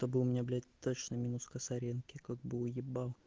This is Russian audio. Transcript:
чтобы у меня блять точно минус косоренки как бы уеба